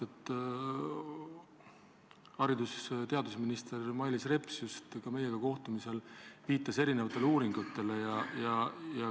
Haridus- ja teadusminister Mailis Reps meiega kohtumisel just viitas erinevatele uuringutele.